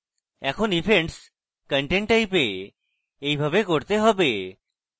এখন আমাদের events content type we এইভাবে করতে হবে